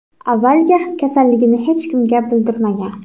Avvaliga kasalligini hech kimga bildirmagan.